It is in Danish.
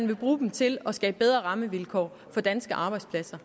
vil bruge dem til at skabe bedre rammevilkår for danske arbejdspladser